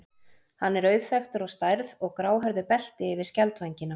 Hann er auðþekktur á stærð og gráhærðu belti yfir skjaldvængina.